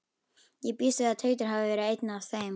Ég býst við að Teitur hafi verið einn af þeim.